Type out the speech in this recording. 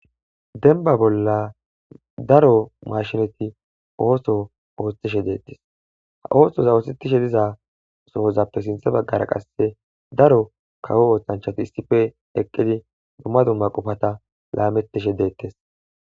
denba bolla daro mashinati ooso oostishe deettes ha oosoza oostetishe diza sohozappe sinthe baggara qasse daro kawo ooththanchati issife eqqidi dumma dumma qofata laamettishe deettes